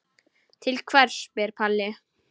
Til hvers spyr Palli.